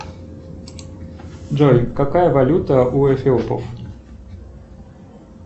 джой какая валюта у эфиопов